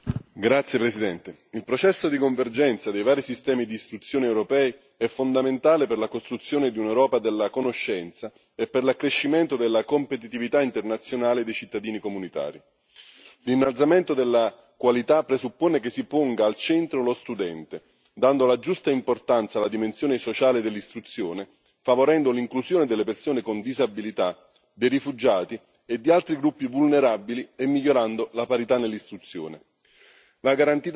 Signora Presidente, onorevoli colleghi, il processo di convergenza dei vari sistemi di istituzioni europei è fondamentale per la costruzione di un'Europa della conoscenza e per l'accrescimento della competitività internazionale dei cittadini comunitari. L'innalzamento della qualità presuppone che si ponga al centro lo studente, dando la giusta importanza alla dimensione sociale dell'istruzione, favorendo l'inclusione delle persone con disabilità, dei rifugiati e di altri gruppi vulnerabili, nonché migliorando la parità nell'istruzione.